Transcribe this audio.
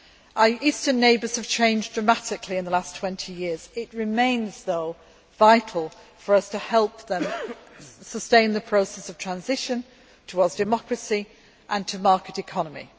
Our Eastern neighbours have changed dramatically in the last twenty years, but it remains vital for us to help them sustain the process of transition, towards democracy and a market economy.